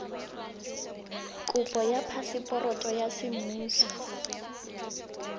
kopo ya phaseporoto ya semmuso